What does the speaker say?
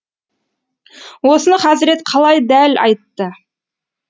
осыны хазірет қалай дәл айтты